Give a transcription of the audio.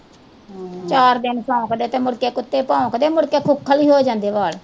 ਚਾਰ ਦਿਨ ਸ਼ੋਂਕ ਦੇ ਤੇ ਮੁੜਕੇ ਕੁੱਤੇ ਭੌਂਕਦੇ ਮੁੜਕੇ ਖੁਖਲ ਈ ਹੋ ਜਾਂਦੇ ਵਾਲ।